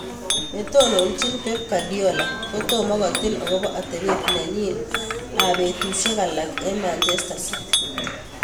(Eurosport) Netononjin Pep Guardiola kotoma kotil akopo atepet nenyin ab betusiek alak eng Manchester City.